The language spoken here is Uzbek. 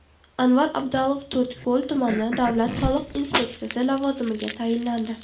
Anvar Abdalov To‘rtko‘l tumani davlat soliq inspeksiyasi lavozimiga tayinlandi.